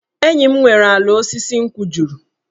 Enyi m nwere ala osisi nkwụ juru.